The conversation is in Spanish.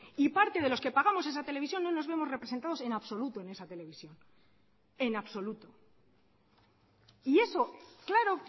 y parte de los que pagamos esa televisión no nos vemos representados en absoluto en esa televisión en absoluto y eso claro